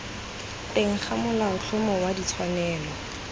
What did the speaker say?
teng ga molaotlhomo wa ditshwanelo